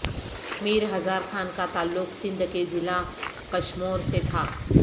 میر ہزار خان کا تعلق سندھ کے ضلع کشمور سے تھا